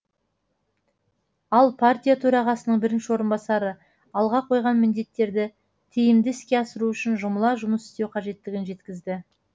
ал партия төрағасының бірінші орынбасары алға қойған міндеттерді тиімді іске асыру үшін жұмыла жұмыс істеу қажеттігін жеткізді